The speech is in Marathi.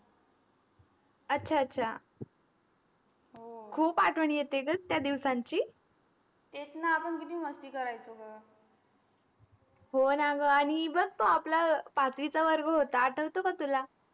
अचा अचा हो खूप आठवण येतो ग त्या दिवसांची तेच न आपण किती मस्ती करायचं ग हो ना ग आनी बघ तो आपला पाचीवीच वर्ग होता आठवतो का तुला.